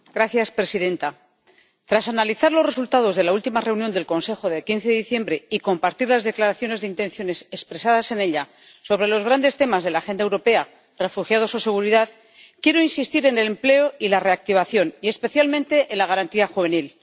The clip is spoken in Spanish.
Señora presidenta, tras analizar los resultados de la última reunión del Consejo de 15 diciembre y compartir las declaraciones de intenciones expresadas en ella sobre los grandes temas de la Agenda europea —refugiados o seguridad—, quiero insistir en el empleo y la reactivación y, especialmente, en la garantía juvenil.